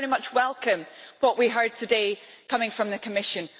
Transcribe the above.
I very much welcome what we heard today coming from the Commission.